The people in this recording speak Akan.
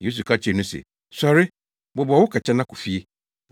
Yesu ka kyerɛɛ no se, “Sɔre! Bobɔw wo kɛtɛ na kɔ fie.”